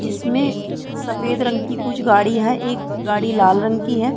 जिसमें सफ़ेद रंग की कुछ गाड़ी हैं एक गाड़ी लाल रंग की है।